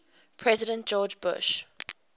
president george bush